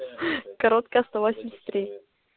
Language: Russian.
короткая сто восемьдесят три